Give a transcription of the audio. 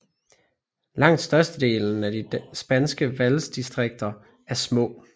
Langt størstedelen af de spanske valgdistriker er små